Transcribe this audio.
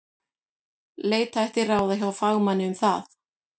Leita ætti ráða hjá fagmanni um það.